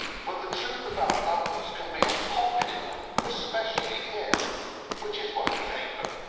But the truth about numbers can be unpopular, especially here, which is why we hate them.